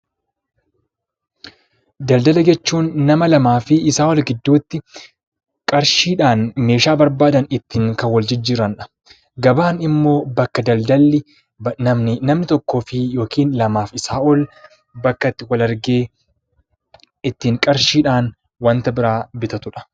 Daldala jechuun nama lamaa fi isa ol gidduutti qarshiidhan meeshaa barbaadan kan ittin wal-jijjiranidha. gabaan immoo bakka daldalli namni tokkoo fi lama, isa ol bakka itti wal-argee qarshiidhan bitatudha.